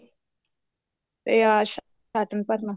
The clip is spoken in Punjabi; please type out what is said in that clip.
ਤੇ ਆਸ਼ ਹਾਤਮ ਭਰਨਾ